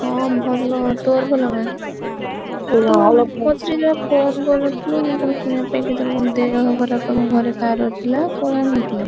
ହଁ ଭଲ। ତୋର ଭଲନା? ତୁ ପଛରେ ଯୋଉ phone କରିନଥିଲୁ